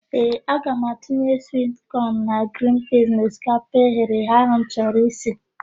Ee, aga m etinye swit kọn na grin piiz n'osikapa eghereghe ahụ m chọrọ isi.